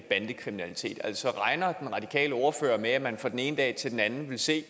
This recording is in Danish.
bandekriminalitet altså regner den radikale ordfører med at man fra den ene dag til den anden vil se